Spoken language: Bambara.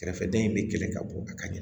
Kɛrɛfɛdɛn in bɛ kɛlɛ ka bɔ a ka ɲɛ